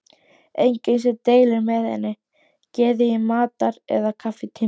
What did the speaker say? Enginn sem deilir með henni geði í matar- eða kaffitímum.